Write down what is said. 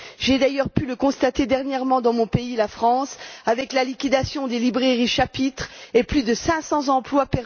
J'ai d'ailleurs pu le constater dernièrement dans mon pays, la France, avec la liquidation des librairies Chapitre et la perte de plus de 500 emplois.